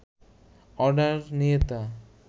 order নিয়ে তা